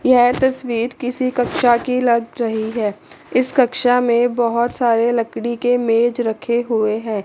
यह तस्वीर किसी कक्षा की लग रही है इस कक्षा में बहोत सारे लकड़ी के मेज रखे हुए हैं।